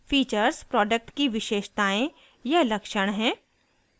features product की विशेषतायें या लक्षण हैं